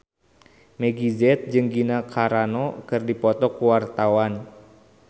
Meggie Z jeung Gina Carano keur dipoto ku wartawan